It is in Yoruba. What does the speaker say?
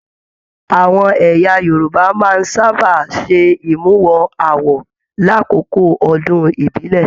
Àwọn ẹyà Yorùbá máa n sábà se imuwọ̀ awo l'akoko ọdún ibilẹ.